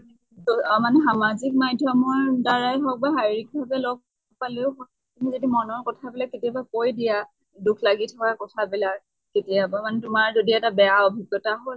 অ মানে সামাজিক মাধ্য়্মৰ দ্বাৰায়ে হৌক বা শাৰীৰিক ভালে লগ পালেও তুমি যদি মনৰ কথা বিলাক কেতিয়াবা কৈ দিয়া, দুখ লাগি থকা কথা বিলাক। কেতিয়াবা মানে তোমাৰ যদি এটা বেয়া অভিজ্ঞ্তা হল